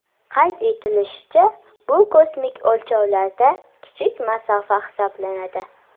Qayd etilishicha, bu kosmik o‘lchovlarda kichik masofa hisoblanadi.